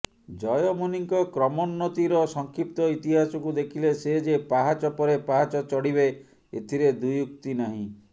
ଜୟମୁନିଙ୍କ କ୍ରମୋନ୍ନତିର ସଂକ୍ଷିପ୍ତ ଇତିହାସକୁ ଦେଖିଲେ ସେ ଯେ ପାହଚ ପରେ ପାହଚ ଚଢ଼ିବେ ଏଥିରେ ଦ୍ବିଉକ୍ତି ନାହିଁ